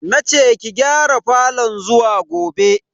Nace ki gyara falon zuwa gobe.